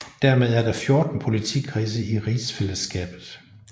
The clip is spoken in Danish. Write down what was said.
Dermed er der 14 politikredse i Rigsfællesskabet